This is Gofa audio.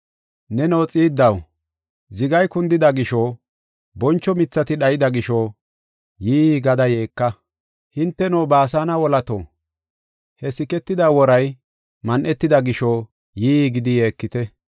Neno xiiddaw, zigay kundida gisho, boncho mithati dhayida gisho, yii gada yeeka! Hinteno Baasane wolato, he siketida woray man7etida gisho, yii gidi yeekite.